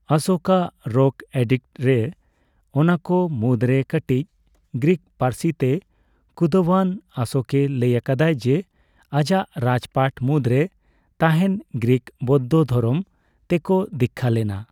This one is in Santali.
ᱚᱥᱳᱠ ᱟᱜ ᱨᱚᱠ ᱮᱰᱤᱠᱴᱥᱼᱨᱮ, ᱚᱱᱟᱠᱚ ᱢᱩᱫᱽᱨᱮ ᱠᱟᱴᱤᱪ ᱜᱨᱤᱠ ᱯᱟᱹᱨᱥᱤ ᱛᱮ ᱠᱩᱸᱫᱟᱹᱣᱟᱱ, ᱚᱥᱳᱠᱮ ᱞᱟᱹᱭ ᱟᱠᱟᱫᱟᱭ ᱡᱮ ᱟᱡᱟᱜ ᱨᱟᱡᱽᱯᱟᱴ ᱢᱩᱫᱽᱨᱮ ᱛᱟᱦᱮᱱ ᱜᱨᱤᱠᱠᱚ ᱵᱳᱫᱽᱫᱷᱚ ᱫᱷᱚᱨᱚᱢ ᱛᱮᱠᱚ ᱫᱤᱠᱠᱷᱟᱹ ᱞᱮᱱᱟ ᱾